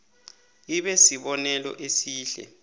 ibe sibonelo esihle